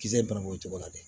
Kisɛ bananbugu cogo la dɛ